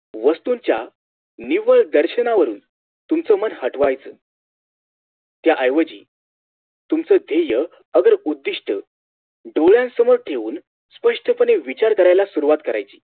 वस्तूंच्या निव्वळ दर्शनावरून तुमच मन हटवायच त्या ऐवजी तुमचा धेय्य अगर उद्धिष्ट डोळ्यांसमोर ठेऊन स्पष्टपणे विचार करायला सुरुवात करायची